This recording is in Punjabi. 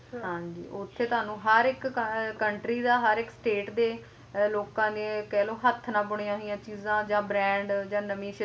ਹਾਂਜੀ ਉੱਥੇ ਤੁਹਾਨੂੰ ਹਰ ਇੱਕ ਅਹ ਹਰ ਇੱਕ country ਦਾ ਹਰ ਇੱਕ state ਦੇ ਲੋਕਾਂ ਨੇ ਕਹਿਲੋ ਹੱਥ ਨਾਲ ਬੁਣੀਆਂ ਹੋਇਆਂ ਚੀਜਾਂ ਜਾਂ brand ਜਾਂ ਨਵੀਂ ਸ਼ਿਲਪਕਾਰੀ ਦੇਖਣ ਨੂੰ ਮਿਲੇਗੀ ਉੱਥੇ